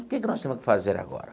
O que que nós temos que fazer agora?